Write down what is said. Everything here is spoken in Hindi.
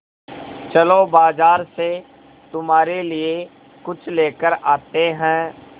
चलो बाज़ार से तुम्हारे लिए कुछ लेकर आते हैं